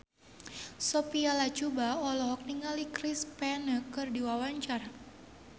Sophia Latjuba olohok ningali Chris Pane keur diwawancara